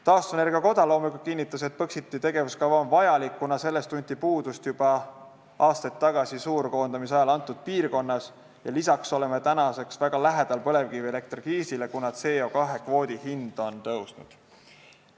Taastuvenergia koda loomulikult kinnitas, et Põxiti tegevuskava on vajalik, kuna sellest tunti selles piirkonnas puudust juba aastaid tagasi suurkoondamiste ajal ja lisaks oleme väga lähedal põlevkivielektri kriisile, kuna CO2 kvoodi hind on tõusnud.